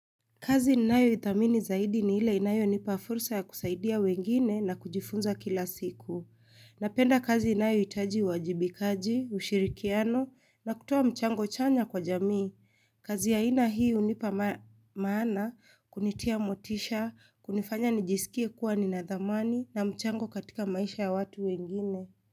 Kazi ninayoithamini zaidi ni ile inayonipa fursa ya kusaidia wengine na kujifunza kila siku. Napenda kazi inayohitaji uwajibikaji, ushirikiano na kutoa mchango chanya kwa jamii. Kazi ya aina hii hunipa maana kunitia motisha, kunifanya nijisikie kuwa nina dhamani na mchango katika maisha ya watu wengine.